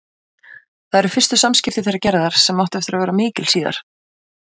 Það eru fyrstu samskipti þeirra Gerðar, sem áttu eftir að verða mikil síðar.